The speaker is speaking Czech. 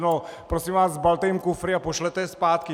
No prosím vás, sbalte jim kufry a pošlete je zpátky!